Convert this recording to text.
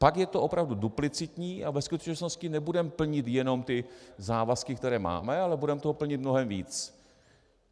Pak je to opravdu duplicitní a ve skutečnosti nebudeme plnit jenom ty závazky, které máme, ale budeme toho plnit mnohem víc.